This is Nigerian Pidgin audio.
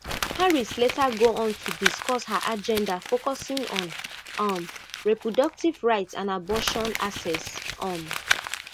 harris later go on to discuss her agenda focusing on um reproductive rights and abortion access um